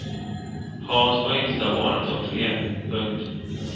Hans var yngsta barnet av tre. punkt